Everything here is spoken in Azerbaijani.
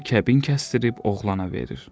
Qızı kəbin kəsdirib oğlana verir.